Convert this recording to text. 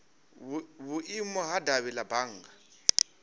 vhuimo ha davhi la bannga